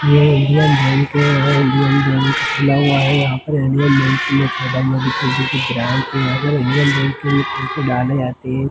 यह Indian bank है यहाँ इंडियन बैंक खुला हुआ हैयहाँ पर इंडियन बैंक में छोटा मोटी छोटी सी ब्रांच है यहाँ पे इंडियन बैंक में पैसे डाले जाते है।